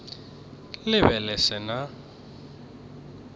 le be le se na